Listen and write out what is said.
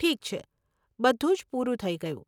ઠીક છે. બધું જ પૂરું થઇ ગયું.